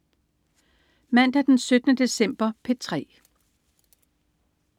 Mandag den 17. december - P3: